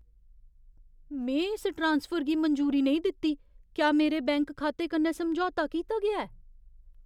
में इस ट्रांसफर गी मंजूरी नेईं दित्ती। क्या मेरे बैंक खाते कन्नै समझौता कीता गेआ ऐ?